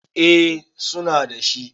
eh suna da shi